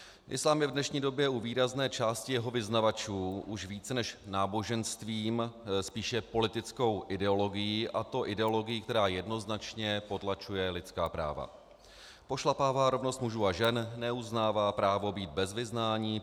Islám je v dnešní době u výrazné části jeho vyznavačů už více než náboženstvím, spíše politickou ideologií, a to ideologií, která jednoznačně potlačuje lidská práva, pošlapává rovnost mužů a žen, neuznává právo být bez vyznání,